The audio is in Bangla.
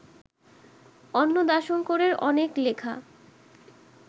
অন্নদাশঙ্করের অনেক লেখা